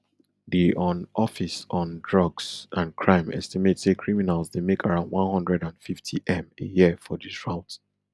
di un office on drugs and crime estimate say criminals dey make around one hundred and fiftym a year for dis route